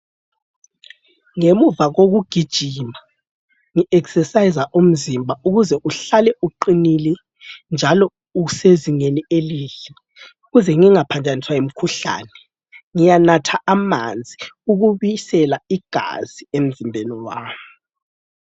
Ngemuva kokugijima ngi exerciser umzimba ukuze uhlale uqinile njalo usezingeni elihle. Ukuze ngingaphanjaniswa yimkhuhlane ngiyanatha amanzi ukubisela igazi emzimbeni wami.